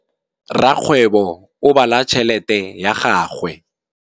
Rakgwêbô o bala tšheletê ya gagwe.